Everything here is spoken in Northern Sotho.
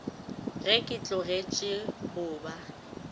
ge ke tlogetše go ba